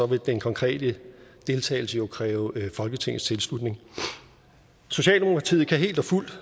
vil den konkrete deltagelse jo kræve folketingets tilslutning socialdemokratiet kan helt og fuldt